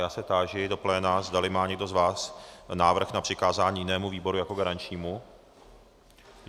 Já se táži do pléna, zdali má někdo z vás návrh na přikázání jinému výboru jako garančnímu.